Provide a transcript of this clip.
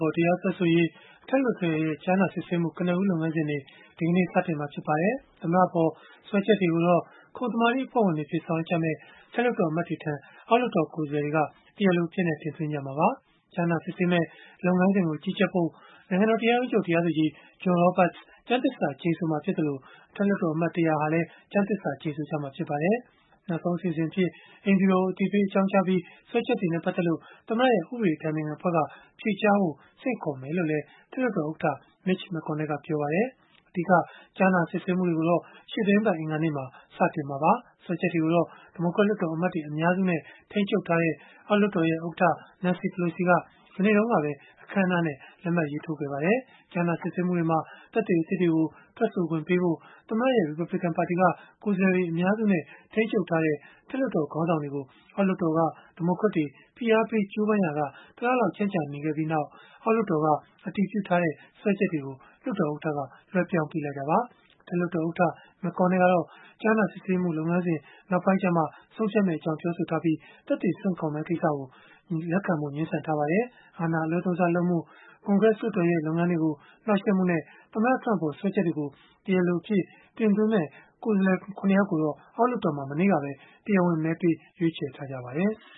ပေါ် တရားစွဲဆိုရေး အထက်လွှတ်တော်ရဲ့ ကြားနာစစ်ဆေးမှု ကနဦးလုပ်ငန်းစဉ်တွေ ဒီကနေ့ စတင်တော့မှာ ဖြစ်ပါတယ်။ သမ္မတအပေါ် စွဲချက်တွေကိုတော့ ခုံသမာဓိအဖွဲ့ဝင်တွေအဖြစ် ဆောင်ရွက်ကြမယ့် အထက်လွှတ်တော် အမတ်တွေထံ အောက်လွှတ်တော် ကိုယ်စားလှယ်တွေက တရားလိုအဖြစ် တင်သွင်းကြမှာပါ။ ကြားနာစစ်ဆေးမယ့် လုပ်ငန်းစဉ်ကို ကြီးကြပ်ဖို့ နိုင်ငံတော်တရားရုံးချုပ် တရားသူကြီး John Roberts ကျမ်းသစ္စာကျိန်ဆိုမှာ ဖြစ်သလို၊ အထက်လွှတ်တော်အမတ် ၁၀၀ ဟာလည်း ကျမ်းသစ္စာ ကျိန်ဆိုကြမှာ ဖြစ်ပါတယ်။ နောက်ဆုံးအစီအစဉ်အဖြစ် အိမ်ဖြူတော်ကို အသိပေးအကြောင်းကြားပြီး၊ စွဲချက်တွေနဲ့ ပတ်သက်လို့ သမ္မတရဲ့ ဥပဒေအတိုင်ပင်ခံအဖွဲ့က ဖြေကြားဖို့ ဆင့်ခေါ်မယ်လို့လည်း အထက်လွှတ်တော်ဥက္ကဋ္ဌ Mitch McConnell ကပြောပါတယ်။ အဓိက ကြားနာစစ်ဆေးမှုတွေကိုတော့ ရှေ့သီတင်းပတ် အင်္ဂါနေ့မှာ စတင်မှာပါ။ စွဲချက်တွေကိုတော့ ဒီမိုကရက်လွှတ်တော်အမတ်တွေ အများစုနဲ့ ထိန်းချုပ်ထားတဲ့ အောက်လွှတ်တော်ဥက္ကဋ္ဌ Nancy Pelosi က မနေ့ဗုဒ္ဓဟူးနေ့ကပဲ အခမ်းအနားနဲ့ လက်မှတ်ရေးထိုးခဲ့ပါတယ်။ ကြားနာစစ်ဆေးမှုတွေမှာ သက်သေအသစ်တွေကို ထွက်ဆိုခွင့်ပေးဖို့ သမ္မတရဲ့ ရီပတ်ဘလစ်ကန်ပါတီက ကိုယ်စားလှယ်တွေ အများစုနဲ့ ထိန်းချုပ်ထားတဲ့ အထက်လွှတ်တော် ခေါင်းဆောင်တွေကို အောက်လွှတ်တော်က ဒီမိုကရက်တွေ ဖိအားပေး ကြိုးပမ်းရာက တလလောက် ကြန့်ကြာခဲ့ပြီးနောက်မှာပဲ အောက်လွှတ်တော်က အတည်ပြုထားတဲ့ စွဲချက်တွေကို လွှတ်တော်ဥက္ကဋ္ဌက လွဲှပြောင်းပေးလိုက်တာပါ။ အထက်လွှတ်တော်ဥက္ကဋ္ဌ McConnell ကတော့ ကြားနာစစ်ဆေးမှု လုပ်ငန်းစဉ် နောက်ပိုင်းကျမှ ဆုံးဖြတ်မယ့်အကြောင်း ပြောဆိုပြီး သက်သေဆင့်ခေါ်မယ့် ကိစ္စကို လက်ခံဖို့ ငြင်းဆန်ထားပါတယ်။ အာဏာအလွဲသုံးစားလုပ်မှု၊ ကွန်ဂရက်လွှတ်တော်ရဲ့ လုပ်ငန်းတွေကို နှောက်ယှက်မှုနဲ့ သမ္မတ Trump အပေါ် စွဲချက်တွေကို တရားလိုအဖြစ် တင်သွင်းမယ့် ကိုယ်စားလှယ် ၇ ယောက်ကိုတော့ အောက်လွှတ်တော်မှာ မနေ့ကပဲ တရားဝင် မဲပေးရွေးချယ်ထားပါတယ်။